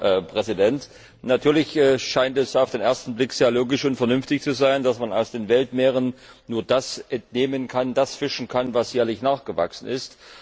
Herr Präsident! Natürlich scheint es auf den ersten Blick sehr logisch und vernünftig zu sein, dass man aus den Weltmeeren nur das entnehmen und fischen kann, was jährlich nachgewachsen ist.